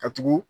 Ka tugu